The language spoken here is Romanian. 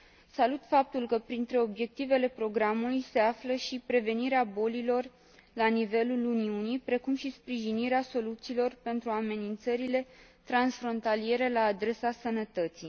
Salut faptul că printre obiectivele programului se află și prevenirea bolilor la nivelul Uniunii, precum și sprijinirea soluțiilor pentru amenințările transfrontaliere la adresa sănătății.